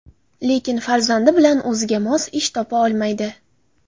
Lekin farzandi bilan o‘ziga mos ish topa olmaydi.